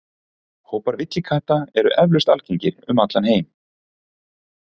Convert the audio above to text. Hópar villikatta eru eflaust algengir um allan heim.